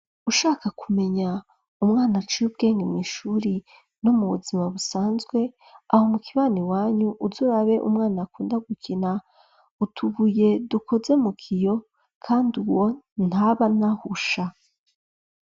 Ushaka kumenya umwana aciy'ubwenge mw'ishuri no mu buzima busanzwe aho mu kibani wanyu uzurabe umwana akunda gukina utubuye dukoze mu kiyo kandi uwo ntabanahusha.